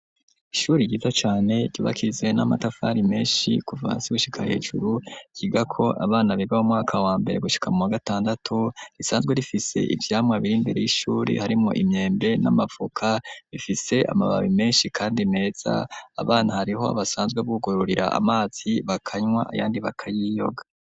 Ishuri ryiza cane cibakizwe n'amatafari menshi kuva hasi gushika hejuru, ryiga ko abana biga mumwaka wa mbere, gushika mu muwagatandatu ,risanzwe rifise ivyamwa biri imbere y'ishuri harimwo imyembe, n'amavoka bifise amababi menshi kandi meza, abana hariho basanzwe bugururira amazi bakanywa ayandi bakayiyoga.